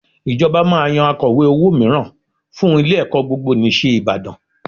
Ìjọba máa yan Akọ̀we owó mìíràn fún ilé-ẹ̀kọ́ Gbogbonìṣe Ìbàdàn